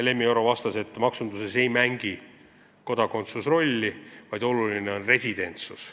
Lemmi Oro vastas, et maksunduses ei mängi kodakondsus rolli, oluline on residentsus.